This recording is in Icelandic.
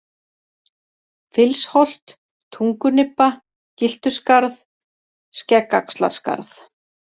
Fylsholt, Tungunibba, Gyltuskarð, Skeggaxlarskarð